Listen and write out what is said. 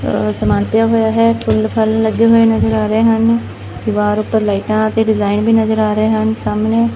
ਆ ਸਮਾਨ ਪਿਆ ਹੋਇਆ ਹੈ ਫੁੱਲ ਫਲ ਲੱਗੇ ਹੋਏ ਨਜ਼ਰ ਆ ਰਹੇ ਹਨ ਦੀਵਾਰ ਉਪਰ ਲਾਈਟਾਂ ਤੇ ਡਿਜ਼ਾਇਨ ਵੀ ਨਜ਼ਰ ਆ ਰਹੇ ਹਨ। ਸਾਹਮ ਣੇ--